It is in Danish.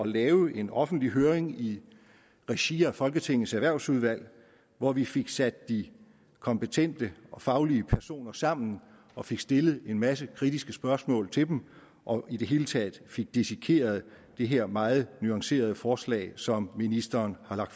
lave en offentlig høring i regi af folketingets erhvervsudvalg hvor vi fik sat de kompetente og faglige personer sammen og fik stillet en masse kritiske spørgsmål til dem og i det hele taget fik dissekeret det her meget nuancerede forslag som ministeren har